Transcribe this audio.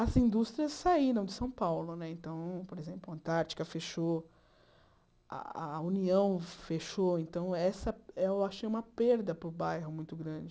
As indústrias saíram de São Paulo né então, por exemplo, a Antártica fechou, a a União fechou, então essa eu achei uma perda para o bairro muito grande.